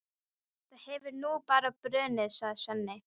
Það hefur nú bara brunnið, sagði Svenni.